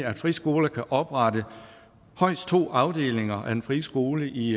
at friskoler kan oprette højst to afdelinger af en friskole i